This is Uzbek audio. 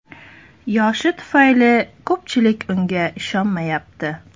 Yoshi tufayli ko‘pchilik unga ishonmayapti.